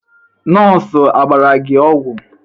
Nọọsụ a gbara gị ọgwụ?